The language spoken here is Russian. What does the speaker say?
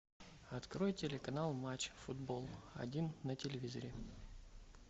открой телеканал матч футбол один на телевизоре